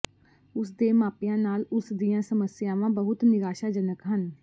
ਉਸ ਦੇ ਮਾਪਿਆਂ ਨਾਲ ਉਸ ਦੀਆਂ ਸਮੱਸਿਆਵਾਂ ਬਹੁਤ ਨਿਰਾਸ਼ਾਜਨਕ ਹਨ